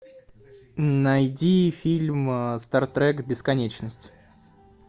найди фильм стар трек бесконечность